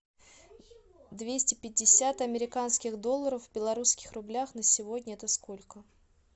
двести пятьдесят американских долларов в белорусских рублях на сегодня это сколько